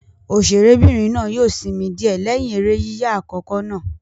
Òṣèré'bìnrin náà yóò sinmi díẹ̀ lẹ́yìn eré yíyà àkọ́kọ́ náà.